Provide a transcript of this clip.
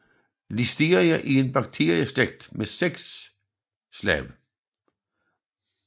Listeria er en bakterieslægt med seks arter